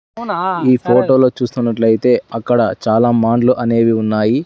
ఈ ఫోటోలో చూస్తున్నట్లయితే అక్కడ చాలా మాండ్లు అనేవి ఉన్నాయి.